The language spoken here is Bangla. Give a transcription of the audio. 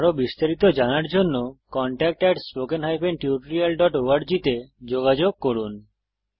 আরো বিস্তারিত জানার জন্য contactspoken tutorialorg তে যোগযোগ করুন